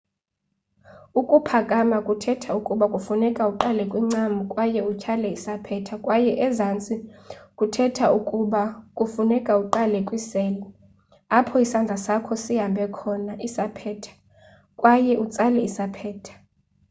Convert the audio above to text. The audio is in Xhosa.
ukuphakama kuthetha ukuba kufuneka uqale kwincam kwaye utyhale isaphetha kwaye ezantsi kuthetha ukuba kufuneka uqale kwisele apho isandla sakho sibambe khona isaphetha kwaye utsale isaphetha